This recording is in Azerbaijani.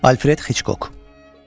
Alfred Hiçkok.